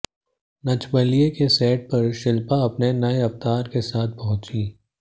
नच बलिए के सेट पर शिल्पा अपने नए अवतार के साथ पहुंचीं